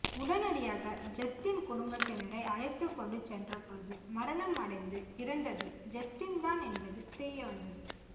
உடனடியாக ஜஸ்டின் குடும்பத்தினரை அழைத்து கொண்டு சென்றபோது மரணம் அடைந்து இருந்தது ஜஸ்டின் தான் என்பது தெரியவந்தது